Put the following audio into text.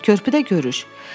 Körpüdə görüş.